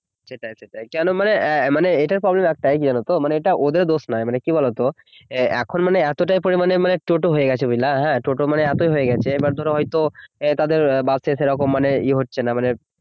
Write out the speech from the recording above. সেটাই সেটাই, কেনো মানে আঃ মানে এটা problem রাস্তায় জানতো এটা ওদের দোষ নাই মানে কি বলতো ইয়ে এখন মানে এতটা পরিমানে মানে টোটো হয়ে গেছে বুঝলা না হ্যাঁ টোটো মানে এতই হয়ে গেছে ধরো হয়তো তাদের বাসের সেই রকম মানে ইয়ে হচ্ছে না